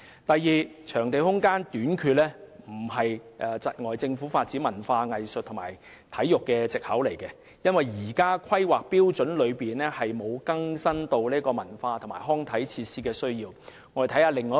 第二，場地空間短缺不是窒礙政府發展文化藝術及體育的藉口，因為現時的《香港規劃標準與準則》沒有因應文化及康體設施的需求而更新。